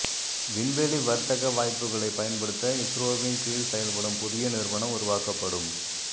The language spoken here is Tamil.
விண்வெளி வர்த்தக வாய்ப்புகளை பயன்படுத்த இஸ்ரோவின் கீழ் செயல்படும் புதிய நிறுவனம் உருவாக்கப்படும்